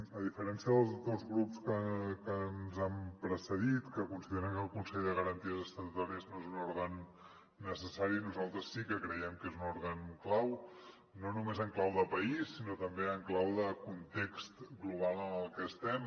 a diferència dels dos grups que ens han precedit que consideren que el consell de garanties estatutàries no és un òrgan necessari nosaltres sí que creiem que és un òrgan clau no només en clau de país sinó també en clau de context global en el que estem